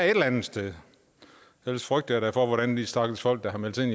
et eller andet sted ellers frygter jeg da for hvordan de stakkels folk der har meldt sig ind